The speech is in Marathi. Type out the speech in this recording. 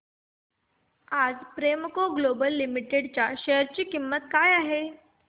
आज प्रेमको ग्लोबल लिमिटेड च्या शेअर ची किंमत काय आहे